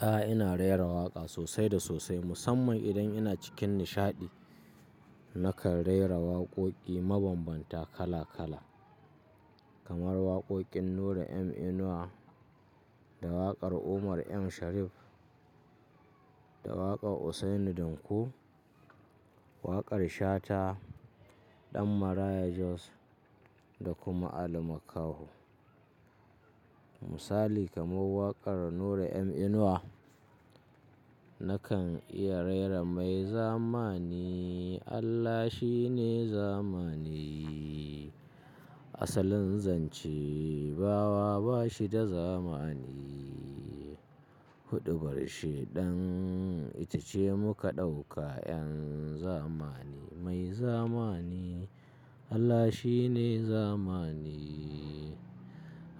A'a, ina rera waƙa sosai da sosai musamman idan ina cikin nishaɗi. Nakan rera waƙoƙi mabambanta kala kala kamar waƙoƙin Nura M Inuwa da waƙar Umar M Sharif da waƙar Usaini Danko, waƙar Shata ɗan Maraya Jos da kuma Ali Makaho. Misali kamar waƙar Nura M Inuwa, nakan iya rera mai zamani. Allah shine zamani asalin zance, bawa bashi da zamani. Huɗubar shidan ita ce muka ɗauka yan zamani. Mai zamani Allah shine zamani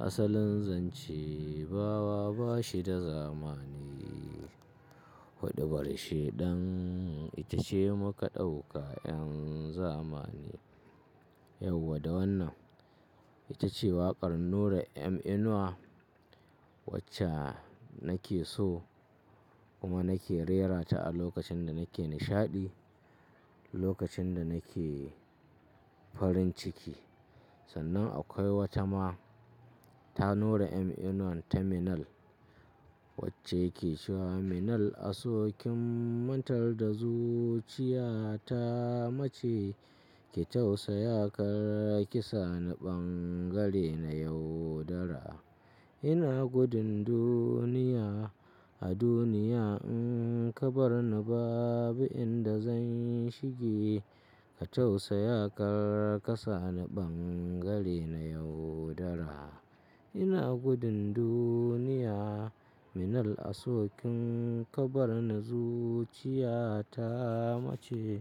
asalin zance bawa bashi da zamani. Huɗubar shidan ita ce muka ɗauka yan zamani. Yau da wannan ita ce waƙar Nura M Inuwa wacce nake so kuma nake rerata a lokacin da nake nishaɗi, lokacin da nake farin ciki. Sannan akwai wata ma ta Nura M Inuwa ta Minel wacce ke cewa: Minel a sokin mantar da zuciya ta mace ki tausa yakar kasa na bangare na yaudara. Ina gudun duniya, a duniya in kabar na babu inda zan shige. Ki tausa yakar kasa na bangare na yaudara. Ina gudun duniya. Minel a sokin kabar na zuciya ta mace.